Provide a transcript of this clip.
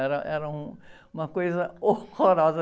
Era, era um, uma coisa horrorosa.